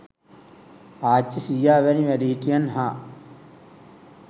ආච්චී සීයා වැනි වැඩිහිටියන් හා